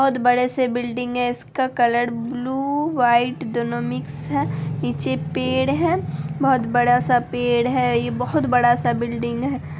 बहुत बड़े से बिल्डिंग है इसका कलर ब्लू व्हाइट दोनों मिक्स है| पीछे पेड़ है बहुत बड़ा-सा पेड़ है| यह बहुत बड़ा-सा बिल्डिंग है।